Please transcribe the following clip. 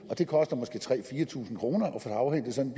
det koster måske tre tusind fire tusind kroner at få afhentet sådan